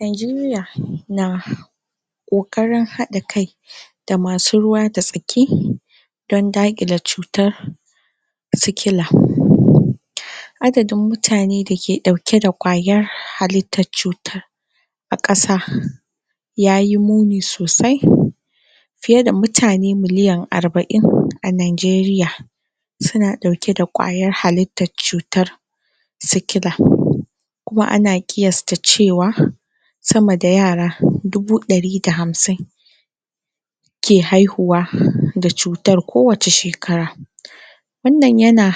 Najeriya na ƙoƙarin haɗa kai da amsu ruwa da tsaki dan daƙile cutar sikila adadin mutane dake ɗauke da ƙwayar halittar cutar a ƙasa ya yi muni sosai fiye da mutane miliyan arba'in a Najeriya suna vauke da ƙwayar halittar cutar sikila kuma ana ƙiyasta cewa sama da yara dubu ɗari da hamsin ke haihuwa da cutar kowace shekara wannan yana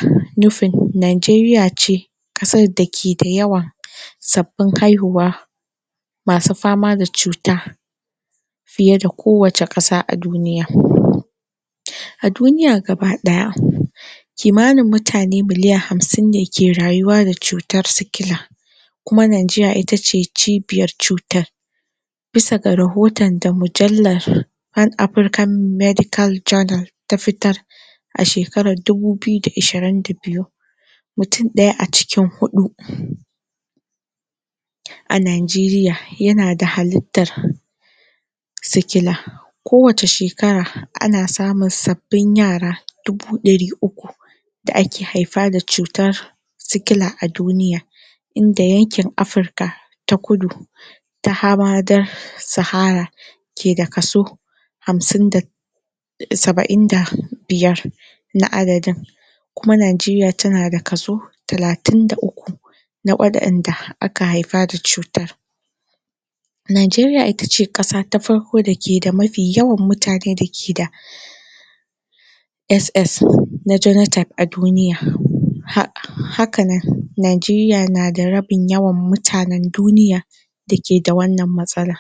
nufin Najeriya ce ƙasar da ke da yawan sabbin haihuwa masu fama da cutar fiye da kowace ƙasa a duniya. A duniya gaba ɗaya kimanin mutane miliya hamsin da ke rayuwa da cutar sikila kuma Najeriya ita ce cibiyar cutar baisa ga rohoton da mujallar Pan African Medical Journal ta fitar a shekarar dubu biyu da ashirin da biyu. Mutum ɗaya a cikin huɗu A Najeriya yana da halittar sikila kowace shekara ana samun sabbin yara dubu ɗari uku da ake haifa da cutar sikila a duniya in da yankin Afirika ta kudu da hamadar sahara ke da kaso hamsin da saba'in da biyar na adadin kuma Najeriya tana da kaso talatin da uk. da wa'inda aka haifa da cutar Najeriya itace ƙasa ta farko da ke da yawan mutane da ke da SS na geno type a duniya haka nanNajeriya na da rabin yawan mutanen duniya da ke da wannan matsala.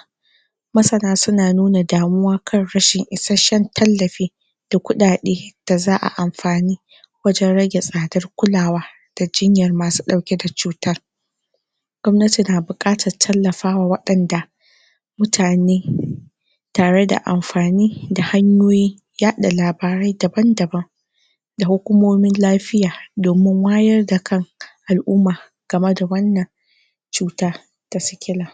Masana suna nuna damuwa kan rashin isasshen tallafi da kuɗaɗe da za a amfani wajen rage tsadar kulawa da jinyar masu ɗauke da cutar gwamnati na buatar tallafawa waɗanda mutane tare da amfani da hanyoyin yaɗa labarari dabandaban da hukumomin lafiya domin wayar da kan al'umma. kama ba wannan cutar ta sikila